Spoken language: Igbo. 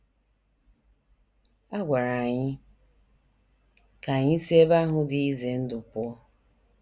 A gwara anyị ka anyị si ebe ahụ dị ize ndụ pụọ.